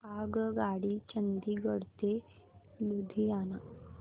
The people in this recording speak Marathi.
आगगाडी चंदिगड ते लुधियाना